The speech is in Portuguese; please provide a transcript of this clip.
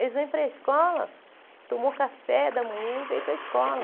Eles vêm para a escola, tomam café da manhã e vêm para a escola.